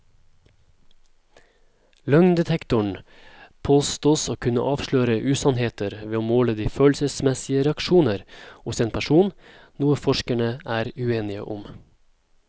Løgndetektoren påstås å kunne avsløre usannheter ved å måle de følelsesmessige reaksjoner hos en person, noe forskerne er uenige om.